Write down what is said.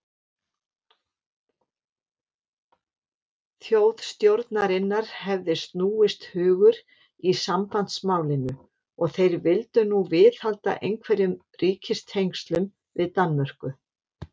Þjóðstjórnarinnar hefði snúist hugur í sambandsmálinu, og þeir vildu nú viðhalda einhverjum ríkistengslum við Danmörku.